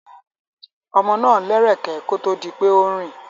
Ọmọ náà lẹ́rẹ̀kẹ́ kó tó di pé ó ń rìn.